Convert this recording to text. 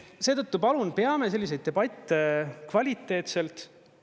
Seetõttu palun, peame selliseid debatte kvaliteetselt.